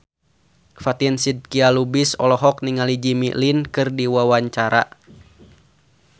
Fatin Shidqia Lubis olohok ningali Jimmy Lin keur diwawancara